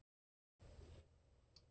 En hvers vegna þessi breyting?